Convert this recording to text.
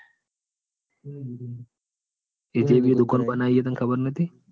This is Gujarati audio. એને જ દુકાન બનાવી એ તને ખબર નતી?